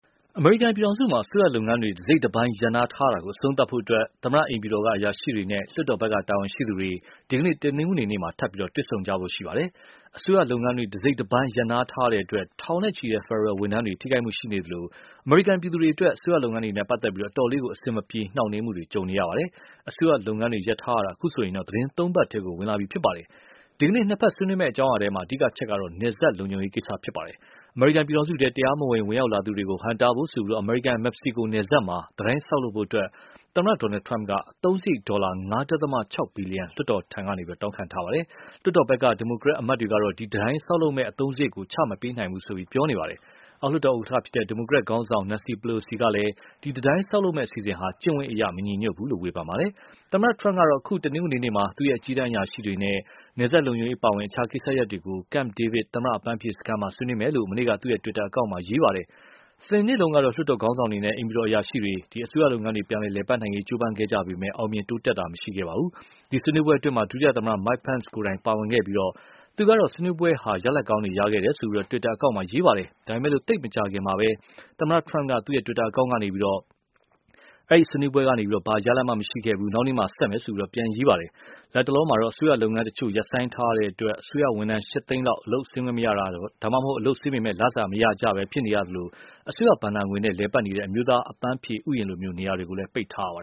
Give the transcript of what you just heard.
အမေရိကန်ပြည်ထောင်စုမှာ အစိုးရလုပ်ငန်းတွေ တစိတ်တပိုင်းရပ်နားထားရတာကို အဆုံးသတ်ဖို့အတွက် သမ္မတအိမ်ဖြူတော်က အရာရှိတွေနဲ့ လွှတ်တော်ဖက် တာဝန်ရှိသူတွေ ဒီကနေ့ တနင်္ဂနွေနေ့ ထပ်ပြီးတွေ့ဆုံကြဖို့ရှိပါတယ်။ အစိုးရလုပ်ငန်းတွေ တစိတ်တပိုင်းရပ်နားထားရတဲ့အတွက် ထောင်နဲ့ချီတဲ့ ဖယ်ဒရယ်ဝန်ထမ်းတွေကို ထိခိုက်မှုရှိနေသလို၊ အမေရိကန်ပြည်သူတွေအတွက် အစိုးရလုပ်ငန်းတွေနဲ့ပတ်သက်လို့ အတော်လေး အဆင်မပြေ နှောင်းနှေးမှုတွေ ကြုံနေရပါတယ်။ အစိုးရလုပ်ငန်းတွေ ရပ်ထားတာ အခုဆိုရင် သီတင်း သုံးပတ်ထဲ ဝင်လာပါပြီ။ ဒီကနေ့ နှစ်ဖက်ဆွေးနွေးမယ့်အကြောင်းအရာထဲ အဓိကအချက်ကတော့ နယ်စပ်လုံခြုံရေးကိစ္စပါ။ အမေရိကန်ပြည်ထောင်စုထဲ တရားမဝင် ဝင်ရောက်လာသူတွေကို ဟန့်တားဖို့ဆိုပြီး အမေရိကန်-မက္ကဆီကို နယ်စပ်မှာ တံတိုင်းဆောက်လုပ်ရေးအတွက် သမ္မတ Donald Trump က အသုံးစရိတ် ဒေါ်လာ ၅.၆ ဘီလီယံ လွှတ်တော်ထံက တောင်းခံထားတာပါ။ လွှွတ်တော်ဖက်က ဒီမိုကရက်အမတ်တွေကတော့ ဒီ တံတိုင်းဆောက်လုပ်မယ့် အသုံးစရိတ်ကို ချ မပေးနိုင်ဘူးလို့ ပြောနေပါတယ်။ အောက်လွှတ်တော် ဥက္ကဌ ဒီမိုကရက်ခေါင်းဆောင် Nancy Pelosi ကလည်း ဒီတံတိုင်းဆောက်လုပ်မယ့်အစီအစဉ်ဟာ ကျင့်ဝတ်အရမညီညွတ်ဘူးလို့လည်း ဝေဖန်ထားပါတယ်။ သမ္မတ Trump ကတော့ အခု တနင်္ဂနွေနေ့မှာ သူ့ရဲ့အကြီးတန်းအရာရှိတွေနဲ့ နယ်စပ်လုံခြုံရေးအပါအဝင် အခြားကိစ္စရပ်တွေကို Camp David သမ္မတ အပန်းဖြေစခန်းမှာ ဆွေးနွေးမယ်လို့ မနေ့က သူ့တွစ်တာအကောင့်ကနေ ရေးခဲ့ပါတယ်။ စနေနေ့တုန်းက လွှွတ်တော်ခေါင်းဆောင်တွေနဲ့ အိမ်ဖြူတော်အရာရှိတွေ အစိုးရလုပ်ငန်းများ ပြန်လည်ပတ်နိုင်ရေးကြိုးပမ်းခဲ့ကြပေမယ့် အောင်မြင်တိုးတက်မှုမရှိခဲ့ပါဘူး။ အဲဒီဆွေးနွေးပွဲမှာ ဒုသမ္မတ Mike Pence ကိုယ်တိုင် ပါဝင်ခဲ့ပြီး၊ သူကတော့ ဆွေးနွေးပွဲဟာ ရလဒ်တွေရှိခဲ့တယ်လို့ သူ့ တွစ်တာအကောင့်မှာ ရေးခဲ့ပါတယ်။ ဒါပေမယ့် သိပ်မကြာခင်မှာပဲ သမ္မတ Trump က သူ့တွစ်တာအကောင့်ကနေ ဒီကနေ့ဘာမှ ရလဒ်မရှိခဲ့ဘူး၊ မနက်ဖြန်မှ ဆက်မယ် ဆိုပြီး ပြန်ရေးခဲ့ပါတယ်။ လတ်တလောမှာ အစိုးရလုပ်ငန်းတချို့ ရပ်ဆိုင်းထားရတဲ့အတွက် အစိုးရဝန်ထမ်း ၈ သိန်းလောက် အလုပ်ဆင်းခွင့်မရတာ၊ ဒါမှမဟုတ် အလုပ်ဆင်းပေမဲ့ လစာမရကြပဲ ဖြစ်နေရသလို၊ အစိုးရဘဏ္ဍာငွေနဲ့ လည်ပတ်နေတဲ့ အမျိုးသား အပန်းဖြေဥယျာဉ်လို နေရာတွေလည်း ပိတ်ထားရပါ